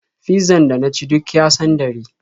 Fizzan da na ci duk ya sandare.